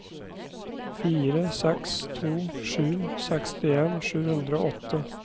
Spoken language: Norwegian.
fire seks to sju sekstien sju hundre og åtte